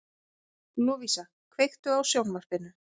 Lovísa, kveiktu á sjónvarpinu.